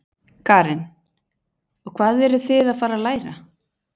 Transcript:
Karen: Og hvað eruð þið að fara að læra?